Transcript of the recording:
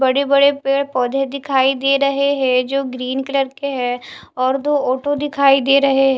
बड़े बड़े पेड़ पौधे दिखाई दे रहे हैं जो ग्रीन कलर के है और दो ऑटो दिखाई दे रहे--